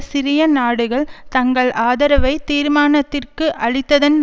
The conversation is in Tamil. சிறிய நாடுகள் தங்கள் ஆதரவை தீர்மானத்திற்கு அளித்ததன்